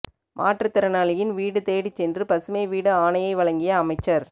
மாற்றுத் திறனாளியின் வீடு தேடிச் சென்று பசுமை வீடு ஆணையை வழங்கிய அமைச்சா்